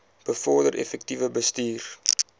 bevorder effektiewe bestuur